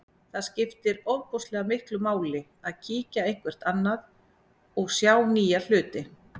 Það skiptir ofboðslega miklu máli að kíkja eitthvert annað og sjá nýja hluti.